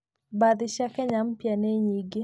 Mbathi cia Kenya Mpya nĩ nyingĩ.